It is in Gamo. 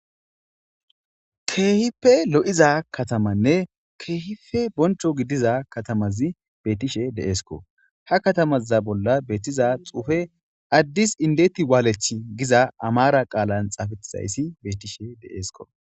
Kehipe lo iza katamanne kehippe boncho gidiza katamazi betishe dee'sko ha katama bolla betiza xufe adis indet walech iza amarato qalan xafetizayisi betishe dee'sko